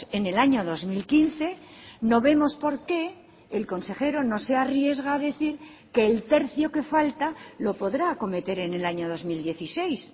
en el año dos mil quince no vemos por qué el consejero no se arriesga a decir que el tercio que falta lo podrá acometer en el año dos mil dieciséis